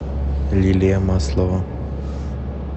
лилия маслова